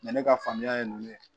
ne ka faamuya ye nin ye